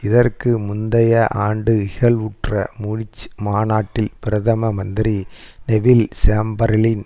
இதற்கு முந்தைய ஆண்டு இகழ்வுற்ற மூனிச் மாநாட்டில் பிரதம மந்திரி நெவில் சேம்பர்லின்